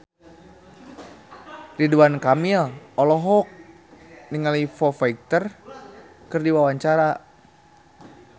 Ridwan Kamil olohok ningali Foo Fighter keur diwawancara